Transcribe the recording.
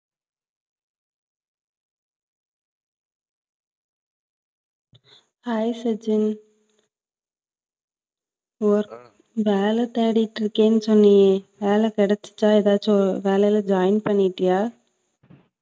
hi Sachin work வேலை தேடிட்டு இருக்கேன்னு சொன்னியே வேலை கிடைச்சுச்சா எதாச்சும் வேலையில join பண்ணிட்டியா